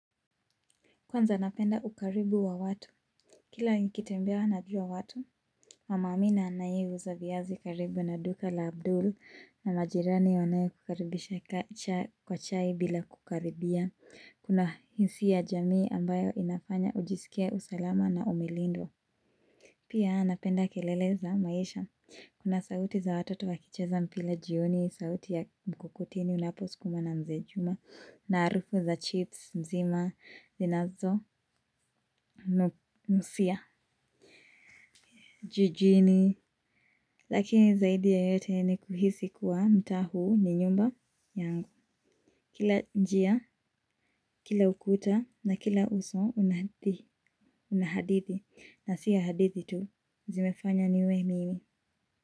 Kwanza napenda ukaribu wa watu. Kila nikitembea najua watu. Mama Amina anayeuza viyazi karibu naduka la Abdul na majirani wanaye kukaribisha kwa chai bila kukaribia. Kuna hisia ya jamii ambayo inafanya ujisikie usalama na umelindwa. Pia napenda kelele za maisha. Kuna sauti za watoto wakicheza mpila jioni, sauti ya mkokoteni unapo sukumwa na mzee Juma. Na arufu za chips mzima zinazonusia jijini, lakini zaidi ya yote ni kuhisi kuwa mtaa huu ni nyumba yangu. Kila njia, kila ukuta na kila uso unahadithi. Na si ya hadithi tu, zimefanya niwe mimi.